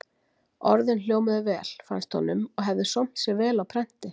Orðin hljómuðu vel, fannst honum, og hefðu sómt sér vel á prenti.